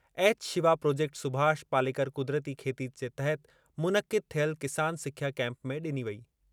Shiva project Subhash Palekar क़ुदरती खेती जे तहति मुनक़िद थियल किसान सिख्या केम्प में डि॒नी वेई।